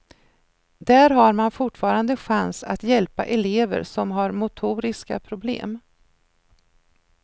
Där har man fortfarande chans att hjälpa elever som har motoriska problem.